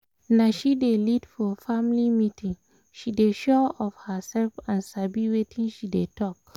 na she dey lead for family meeting she dey sure of herself and sabi wetin she dey talk